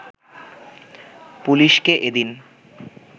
পুলিশকে এদিন